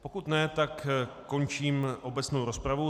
Pokud ne, tak končím obecnou rozpravu.